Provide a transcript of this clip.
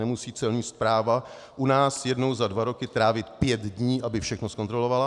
Nemusí Celní správa u nás jednou za dva roky trávit pět dní, aby všechno zkontrolovala.